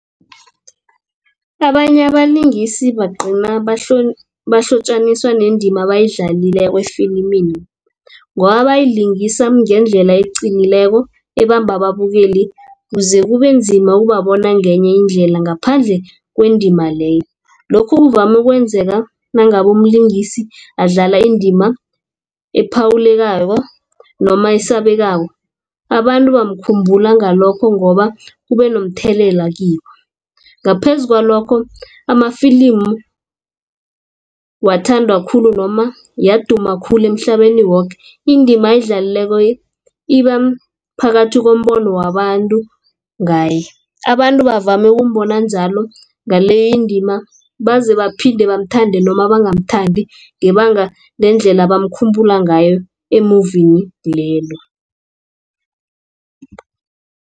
Abanye abalingisi bagcina bahlotjaniswa nendima abayidlalileko efilimini. Ngoba bayayilingisa ngendlela eqinileko ebamba ababukeli ukuze kubenzima ukubabona ngenye indlela ngaphandle kwendima leyo. Lokhu kuvame ukwenzeka nangabe umlingisi adlala indima ephawulekako noma esabekako abantu bamkhumbula ngalokho ngoba ube nomthelela kibo. Ngaphezu kwalokho amafilimi ngiwathandwa khulu noma yaduma khulu emhlabeni woke indima ayidlalileko iba phakathi kombono wabantu ngaye. Abantu bavame ukumbona njalo ngaleyo indima baze baphinde bamthande noma bangamthandi ngebanga lendlela abamkhumbula ngayo emuvini lelo.